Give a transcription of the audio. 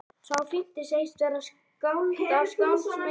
Sá fimmti segist vera skáld af skálds meiði.